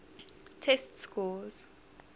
test scores